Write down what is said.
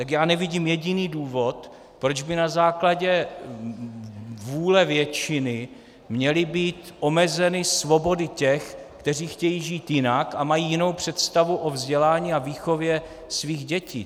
Tak já nevidím jediný důvod, proč by na základě vůle většiny měly být omezeny svobody těch, kteří chtějí žít jinak a mají jinou představu o vzdělání a výchově svých dětí.